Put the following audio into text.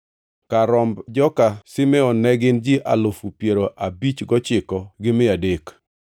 Kar romb joka Simeon ne gin ji alufu piero abich gochiko gi mia adek (59,300).